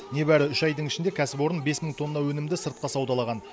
небәрі үш айдың ішінде кәсіпорын бес мың тонна өнімді сыртқа саудалаған